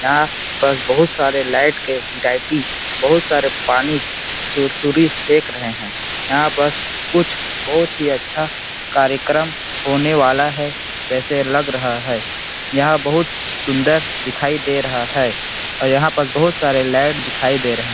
यहाँ पास बहुत सारे लाइट के बहुत सारे पानी सुरसुरी फेक रहे है यहाँ पस कुछ बहुत ही अच्छा कार्यक्रम होने वाला है जैसे लग रहा है यहाँ बहुत सुंदर दिखाई दे रहा है और यहाँ पस बहुत सारे लाइट दिखाई दे रहे है।